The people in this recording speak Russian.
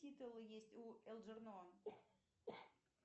титулы есть у элджернон